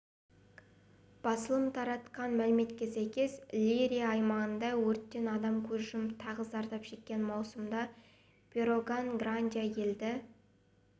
басылым таратқан мәліметке сәйкес лейрия аймағындағы өрттен адам көз жұмып тағы зардап шеккен маусымда педроган-гранди елді